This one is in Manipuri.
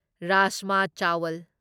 ꯔꯥꯖꯃ ꯆꯥꯋꯜ